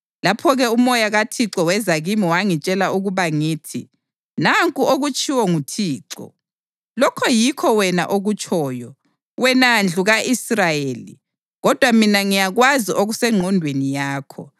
Lapho-ke uMoya kaThixo weza kimi wangitshela ukuba ngithi, Nanku okutshiwo nguThixo: “Lokho yikho wena okutshoyo, wena ndlu ka-Israyeli, kodwa mina ngiyakwazi okusengqondweni yakho.